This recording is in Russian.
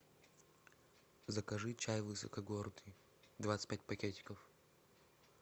закажи чай высокогорный двадцать пять пакетиков